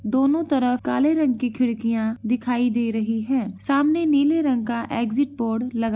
दोनों तरफ काले कलर की खिड़कियाँ दिखाई दे रही हैं। सामने नीले रंग का एग्जिट पोल लग --